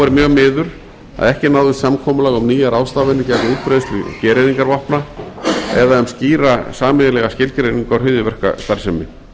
mjög miður að ekki náðist samkomulag um nýjar ráðstafanir gegn útbreiðslu gereyðingarvopna eða um skýra sameiginlega skilgreiningu á hryðjuverkastarfsemi